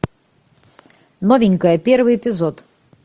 новенькая первый эпизод